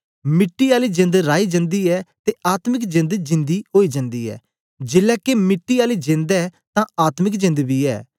मिट्टी आली जेंद राई जन्दी ऐ ते आत्मिक जेंद जींदी ओई जन्दी ऐ जेलै के मिट्टी आली जेंद ऐ तां आत्मिक जेंद बी ऐ